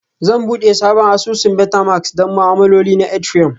Zan buɗe sabon asusun Metamask don ma'amaloli na Ethereum